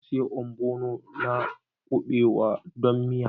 Na sayi ogbono da kuɓewa don miya